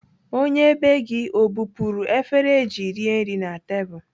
Onye bee gị o bupuru efere eji rie nri na tebụl?